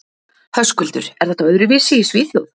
Höskuldur: Er þetta öðruvísi í Svíþjóð?